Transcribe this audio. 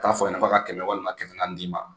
K'a fɔ a ɲɛna k'a ka kɛmɛ walima kɛmɛ naani d'i ma